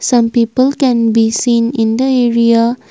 some people can be seen in the area.